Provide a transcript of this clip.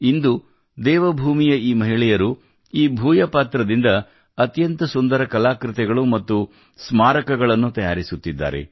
ಇಂದು ದೇವಭೂಮಿಯ ಈ ಮಹಿಳೆಯರು ಈ ಭೂಯಪಾತ್ರದಿಂದ ಅತ್ಯಂತ ಸುಂದರ ಕಲಾಕೃತಿಗಳು ಮತ್ತು ಸ್ಮಾರಕ ಚಿಹ್ನೆಗಳನ್ನು ತಯಾರಿಸುತ್ತಿದ್ದಾರೆ